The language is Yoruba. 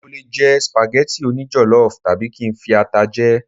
mo le jẹ spaghetti oni jollof tabi kin fi ata jẹ